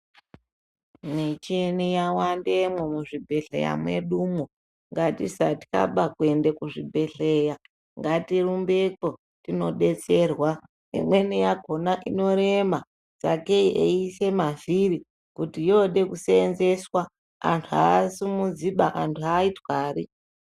Michini yawandemo muzvibhedhlera mwedu umo. Ngatisatyaba kuyende kuzvibhedhleya, ngatirumbeko tinodetserwa. Imweni yakhona, inorema, tsvakeyi eyisa mavhiri kuti yode kusenzeswa, antu asimudziba, antu ayithwari.